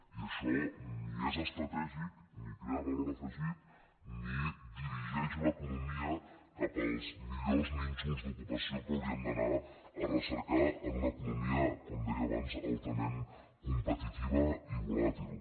i això ni és estratègic ni crea valor afegit ni dirigeix l’economia cap als millors nínxols d’ocupació que hauríem d’anar a recercar en una economia com deia abans altament competitiva i volàtil